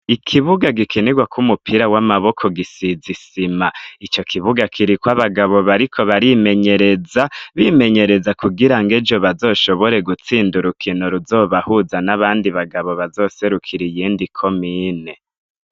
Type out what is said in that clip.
Ikibuga gikinirwako umupira w'amaboko gisize isima, icokibuga kiriko abagabo bariko barimenyereza bimenyereza kugirango ejo bazoshobore gutsinda urukino ruzobahuza n'abandi bagabo bazoserukira iyindi komine.